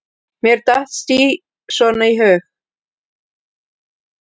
Mér datt sí svona í hug.